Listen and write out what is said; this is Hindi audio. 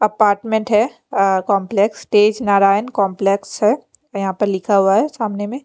अपार्टमेंट है अ कॉम्प्लेक्स टेज नारायण कॉम्प्लेक्स है यहाँ पे लिखा हुआ है सामने में।